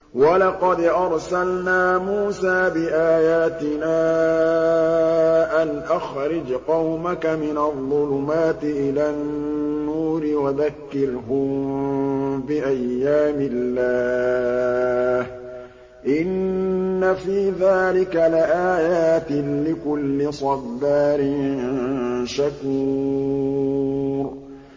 وَلَقَدْ أَرْسَلْنَا مُوسَىٰ بِآيَاتِنَا أَنْ أَخْرِجْ قَوْمَكَ مِنَ الظُّلُمَاتِ إِلَى النُّورِ وَذَكِّرْهُم بِأَيَّامِ اللَّهِ ۚ إِنَّ فِي ذَٰلِكَ لَآيَاتٍ لِّكُلِّ صَبَّارٍ شَكُورٍ